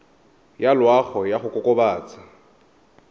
ya loago ya go kokobatsa